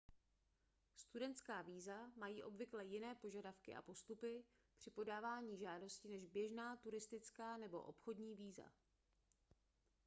studentská víza mají obvykle jiné požadavky a postupy při podávání žádosti než běžná turistická nebo obchodní víza